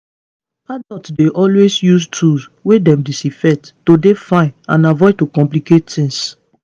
adults dey always use tools wey dem disinfect to dey fine and avoid to complicate tings